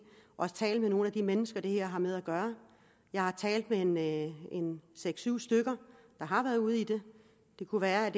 og også tale med nogle af de mennesker det her har med at gøre jeg har talt med seks syv stykker der har været ude i det det kunne være at